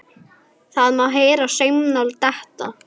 Það má heyra saumnál detta.